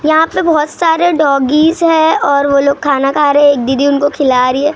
यहाँ पे बहुत सारे डॉगीज हैं और वो लोग खाना खा रहे हैं एक दीदी उनको खिला रही है।